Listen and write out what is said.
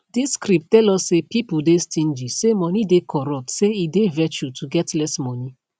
dis script tell us say pipo dey stingy say money dey corruptsay e dey virtue to get less money